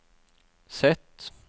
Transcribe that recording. Z